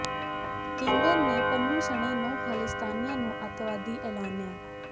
ਕੇਂਦਰ ਨੇ ਪੰਨੂ ਸਣੇ ਨੌਂ ਖ਼ਾਲਿਸਤਾਨੀਆਂ ਨੂੰ ਅਤਿਵਾਦੀ ਐਲਾਨਿਆ